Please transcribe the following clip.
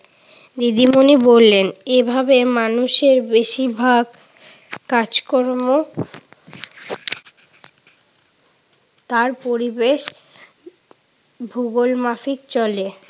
দিদিমণি বললেন, এভাবে মানুষের বেশিরভাগ কাজ-কর্ম তার পরিবেশ ভূগোল মাফিক চলে।